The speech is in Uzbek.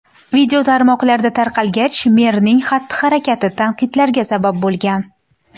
Video tarmoqlarda tarqalgach, merning xatti-harakati tanqidlarga sabab bo‘lgan.